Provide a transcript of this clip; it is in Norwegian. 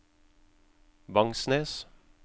Vangsnes